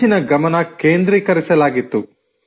ಹೆಚ್ಚಿನ ಗಮನ ಕೇಂದ್ರೀಕರಿಸಲಾಗಿತ್ತು